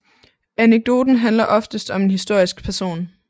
Anekdoten handler oftest om en historisk person